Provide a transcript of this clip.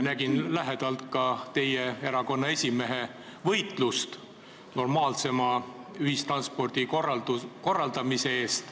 Nägin lähedalt ka teie erakonna esimehe võitlust normaalsema ühistranspordi korraldamise eest.